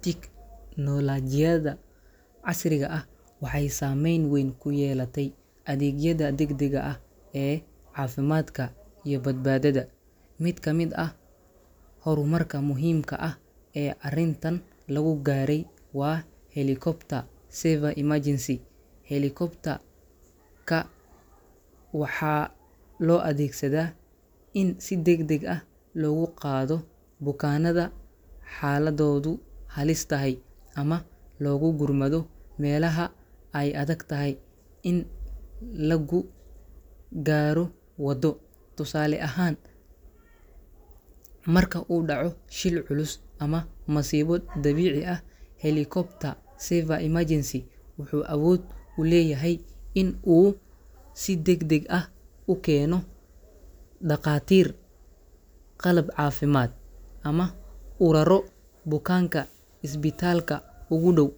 Tiknoolajiyada casriga ah waxay saamayn weyn ku yeelatay adeegyada degdega ah ee caafimaadka iyo badbaadada. Mid ka mid ah horumarka muhiimka ah ee arrintan lagu gaaray waa helicopter saver emergency. Helicopter-ka waxaa loo adeegsadaa in si degdeg ah loogu qaado bukaanada xaaladoodu halis tahay ama loogu gurmado meelaha ay adag tahay in lagu gaaro waddo. Tusaale ahaan, marka uu dhaco shil culus ama masiibo dabiici ah, helicopter saver emergency wuxuu awood u leeyahay in uu si degdeg ah u keeno dhaqaatiir, qalab caafimaad, ama u raro bukaanka isbitaalka ugu dhow.